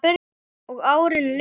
Og árin liðu.